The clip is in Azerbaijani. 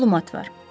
Məlumat var.